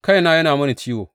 Kaina yana mini ciwo!